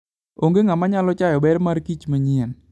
Onge ng'ama nyalo chayo ber mar kich manyien.